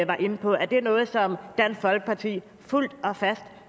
var inde på er noget som dansk folkeparti fuldt